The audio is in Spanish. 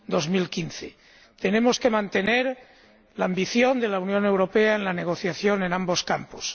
2015. Tenemos que mantener la ambición de la Unión Europea en la negociación en ambos campos.